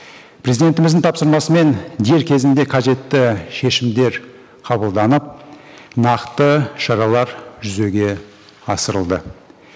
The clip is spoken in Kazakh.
президентіміздің тапсырмасымен дер кезінде қажетті шешімдер қабылданып нақты шаралар жүзеге асырылды